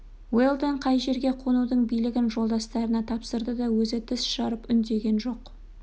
уэлдон қай жерге қонудың билігін жолдастарына тапсырды да өзі тіс жарып үндеген жоқ